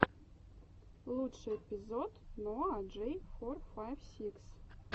лучший эпизод ноа джей фор файв сикс